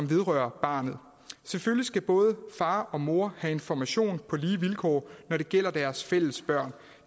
vedrørende barnet selvfølgelig skal både faren og moren have information på lige vilkår når det gælder deres fælles børn